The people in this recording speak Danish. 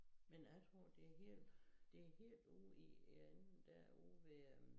Men jeg tror det helt det helt ude i enden dér ude ved